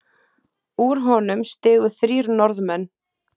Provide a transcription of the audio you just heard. Úr honum stigu þrír Norðmenn.